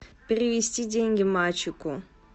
перевести деньги мальчику